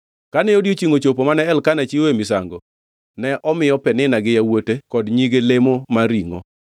Kane odiechiengʼ ochopo ma Elkana chiwoe misango, ne omiyo Penina gi yawuote kod nyige lemo mar ringʼo.